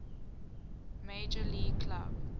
major league club